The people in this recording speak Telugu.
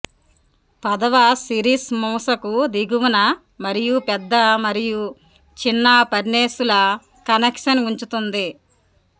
పదవ సిరీస్ మూసకు దిగువన మరియు పెద్ద మరియు చిన్న ఫర్నేసుల కనెక్షన్ ఉంచుతుంది